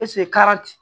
kara